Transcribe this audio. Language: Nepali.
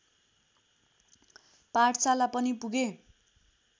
पाठशाला पनि पुगे